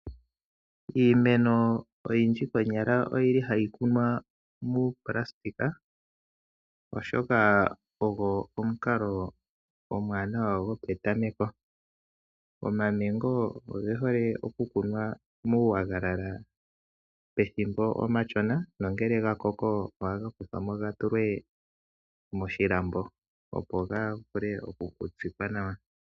Iimeno oyindji konyala ohayi kunwa muuplastika oshoka ogo omukalo omwaanawa gopetameko. Oma mengo oge hole oku kunwa muu wagalala pethimbo omashona nangele gakoko ohaga kuthwa mo gatulwe moshilambo opo gavule okutsikwa nawa.